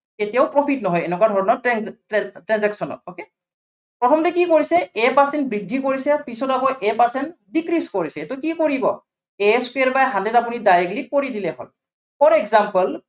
কেতিয়াও profit নহয়, এনেকুৱা ধৰনৰ tran tran transaction ত okay প্ৰথমতে কি কৰিছে A percent বৃদ্ধি কৰিছে, পিছত আকৌ A percent decrease কৰিছে, এইটো কি কৰিব A square by hundred আপুনি directly কৰি দিলেই হল। for example